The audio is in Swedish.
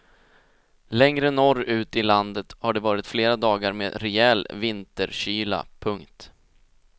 Längre norrut i landet har det varit flera dagar med rejäl vinterkyla. punkt